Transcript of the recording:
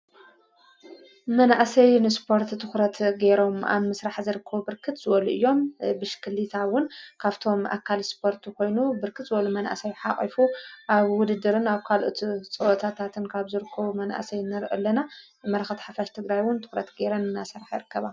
መናእሰይ ንስፖርት ትዂረት ገይሮም ኣንምሥራሕ ዘርኮ ብርክት ወሉ እዮም ።ብሽክሊታውን ካፍቶም ኣካል ስፖርቱ ኾይኑ ብርክት ወሉ መናእሰይ ሓቒፉ ኣብ ውድድርን ኣብ ካልእቲ ጸወታታተን ካብ ዘርክ መናእሰይ ንር ኣለና የመረኸት ሓፈሽ ተግራይውን ትዂረት ገይረን እናሰራሕ የርከባ።